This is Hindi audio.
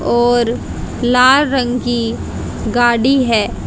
और लाल रंग की गाड़ी है।